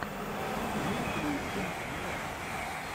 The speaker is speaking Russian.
имеется ли у тебя аниме